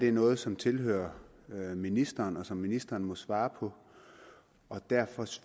er noget som tilhører ministeren og som ministeren må svare på derfor